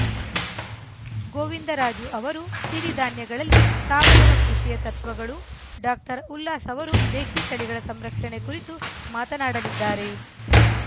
ಗೋವಿಂದರಾಜು ಅವರು ಸಿರಿಧಾನ್ಯಗಳಲ್ಲಿ ಸಾವಯವ ಕೃಷಿಯ ತತ್ವಗಳು ಡಾಕ್ಟರ್ ಉಲ್ಲಾಸ್‌ ಅವರು ದೇಶೀ ತಳಿಗಳ ಸಂರಕ್ಷಣೆ ಕುರಿತು ಮಾತನಾಡಲಿದ್ದಾರೆ